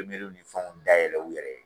ni fɛnw dayɛlɛ u yɛrɛ ye.